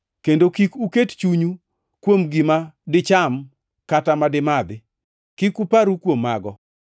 Kendo kik uket chunyu kuom gima dicham kata madi madhi, kik uparru kuom mago.